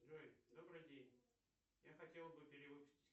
джой добрый день я хотел бы перевыпустить